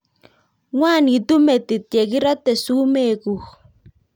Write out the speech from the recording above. ng'wanitu metit ye kerate sumek kuk